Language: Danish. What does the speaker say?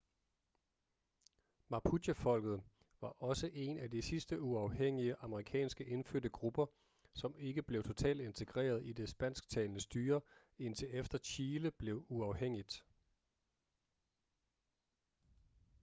mapuchefolket var også en af de sidste uafhængige amerikanske indfødte grupper som ikke blev totalt integreret i det spansktalende styre indtil efter chile blev uafhængigt